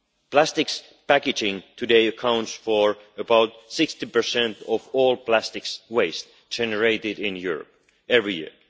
Plastics packaging today accounts for about 60 of all plastics waste generated in Europe every year.